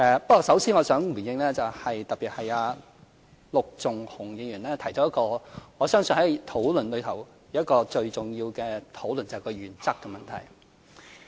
不過，首先我想回應——特別是陸頌雄議員提到——我相信在討論中是最重要的部分，是原則問題。